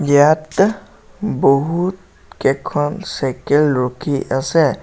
ইয়াত বহুত কেখন চাইকেল ৰখি আছে।